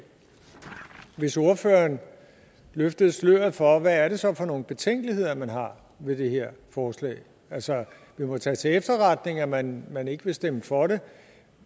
hvis ordføreren løftede sløret for hvad det så er for nogle betænkeligheder man har ved det her forslag altså det må tages til efterretning at man man ikke vil stemme for det